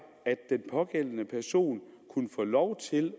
at den pågældende person kunne få lov til